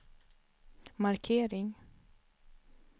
markering